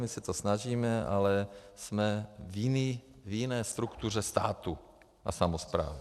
My se to snažíme, ale jsme v jiné struktuře státu a samosprávy.